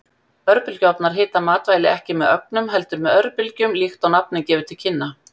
Örbylgjuofnar hita matvæli ekki með ögnum, heldur með örbylgjum líkt og nafnið gefur til kynna.